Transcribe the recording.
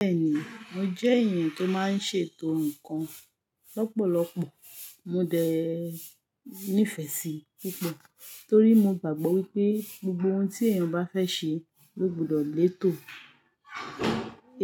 Bẹ́ẹ̀ni, mo jẹ́ èèyàn tó máa ń ṣètò nǹkan lọ́pọ̀lọpọ̀. Mo dẹ ní ìfẹ́ sí púpọ̀ torí mo gbàgbọ́ wípé gbogbo ohun tí èèyàn bá fẹ́ ṣe ló gbọdọ̀ léèto,